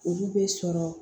Olu bɛ sɔrɔ